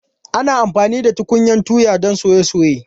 Ana amfani da tukunyan tuya don soye soye.